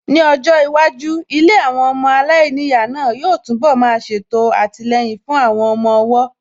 Ní ọjọ́ iwájú, ilé àwọn ọmọ aláìníyàá náà yóò tún bọ̀ má ṣètò àtìlẹyìn fún àwọn ọmọ ọwọ́